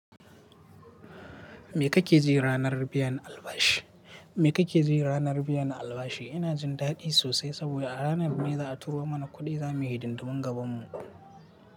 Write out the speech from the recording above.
Me kake ji ranar biyan albashi? Me kake ji ranar biyan albashi? Ina jin dadi sosai saboda a ranar mai za a turo mana kuɗi, zamu yi hidindumin gabanmu.